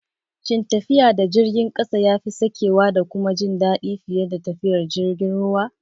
Shin tafiya da jirgin ƙasa yafi sakewa da kuma jin daɗi fiye da tafiyar jirgin ruwa?